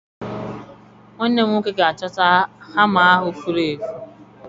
Nwanne m nwoke ga-achọta hama ahụ furu efu.